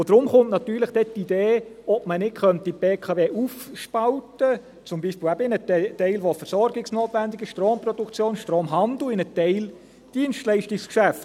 Deshalb kommt natürlich die Idee, ob man die BKW nicht aufspalten könnte, zum Beispiel eben in einen Teil, der versorgungsnotwendig ist – Stromproduktion, Stromhandel – und in einen Teil Dienstleistungsgeschäft.